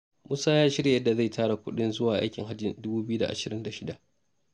Musa ya shirya yadda zai tara kuɗin zuwa aikin hajjin dubu ɓiyu da ashirin da shida.